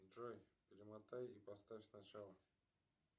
джой перемотай и поставь с начала